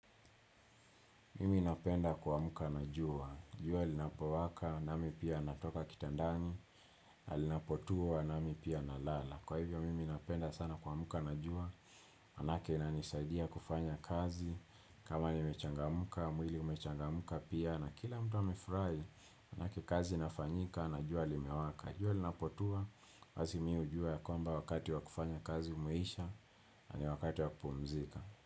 Mimi napenda kuamka na jua, jua linapowaka, nami pia natoka kitandani na linapotua, nami pia nalala. Kwa hivyo, mimi napenda sana kuamka na jua, Maanake inanisaidia kufanya kazi, kama nimechangamka, mwili umechangamka pia, na kila mtu amefurahi, maanake kazi inafanyika, na jua limewaka, jua linapotua, basi mimi hujua ya kwamba wakati wa kufanya kazi umeisha, na ni wakati wa kupumzika.